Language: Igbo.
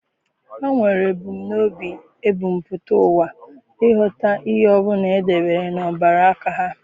Ha nwere ebumnobi ebumpụta ụwa ịghọta ihe ọ bụla e debere n'obere aka ha.